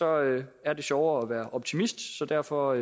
er det er det sjovere at være optimist så derfor